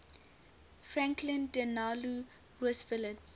franklin delano roosevelt